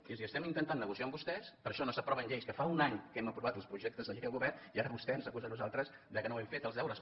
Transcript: és dir estem intentant negociar amb vostès per això no s’aproven lleis que fa un any que n’hem aprovat els projectes de llei el govern i ara vostè ens acusa a nosaltres que no hem fet els deures